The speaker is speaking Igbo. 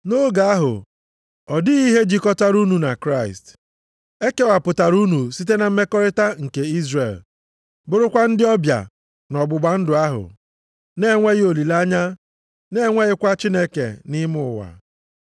Nʼoge ahụ, ọ dịghị ihe jikọtara unu na Kraịst. E kewapụtara unu site na mmekọrịta nke Izrel, bụrụkwa ndị ọbịa nʼọgbụgba ndụ ahụ, na-enweghị olileanya na-enweghịkwa Chineke nʼime ụwa.